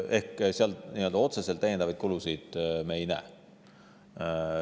Ehk seal me otseselt lisakulusid ette ei näe.